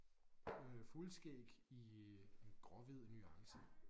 Øh fuldskæg i gråhvid nuance